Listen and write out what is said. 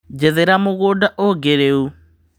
Jethera mũgũda ũngĩ rĩu.